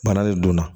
Bana de don